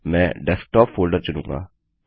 मैं desktop folder चुनूँगा